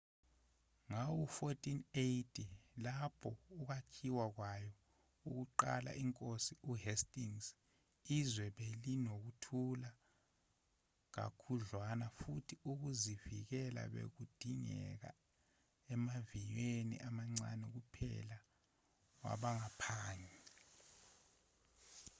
ngawo-1480 lapho ukwakhiwa kwayo kuqalwa inkosi uhastings izwe belinokuthula kakhudlwana futhi ukuzivikela bekudingeka emaviyweni amancane kuphela wabaphangi